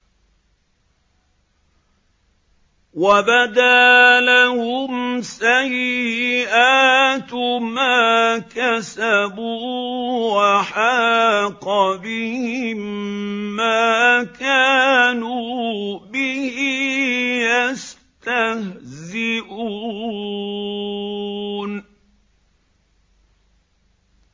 وَبَدَا لَهُمْ سَيِّئَاتُ مَا كَسَبُوا وَحَاقَ بِهِم مَّا كَانُوا بِهِ يَسْتَهْزِئُونَ